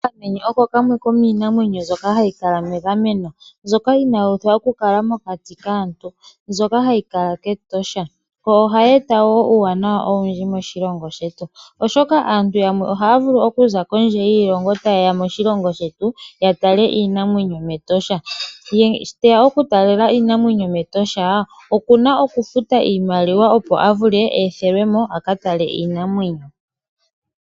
Okamenye oko kamwe komiinamwenyo mbyoka hayi kala megameno, mbyoka inaka uthwa okukala mokati kaantu mbyoka hayi kala mEtosha nohayi eta wo uuwanawa owundji moshilongo shetu, oshoka aantu yamwe ohaya vulu okuza kondje yiilongo taye ya moshilongo shetu taye ya okutala iinamwenyo mEtosha. Uuna aantu taye ya okutala iinamwenyo mEtosha ohaya futu, opo ye ethwe ya ka tale iinamwenyo.